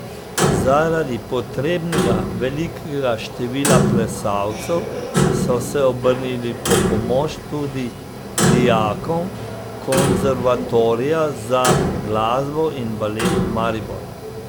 Zaradi potrebnega velikega števila plesalcev so se obrnili po pomoč tudi k dijakom Konservatorija za glasbo in balet Maribor.